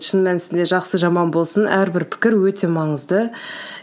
шын мәнісінде жақсы жаман болсын әрбір пікір өте маңызды